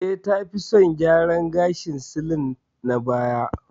Eh, ta fi son salon gyaran gashin silik na baya.